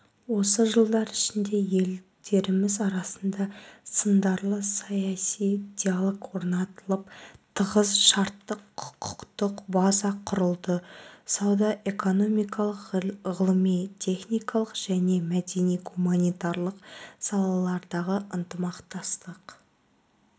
осы жылдар ішінде елдеріміз арасында сындарлы саяси диалог орнатылып тығыз шарттық-құқықтық база құрылды сауда-экономикалық ғылыми-техникалық және мәдени-гуманитарлық салалардағы ынтымақтастық